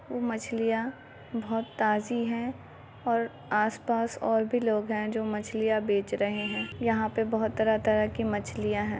वो मछलियाँ बहुत ताज़ी है और आसपास और भी लोग है जो मछलियाँ बेच रहे है यहाँ पर और भी तरह तरह की मछलियाँ है।